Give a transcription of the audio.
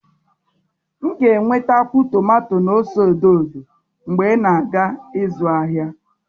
M ga-enwetakwu tomato na ose edo edo mgbe ị na-aga ịzụ ahịa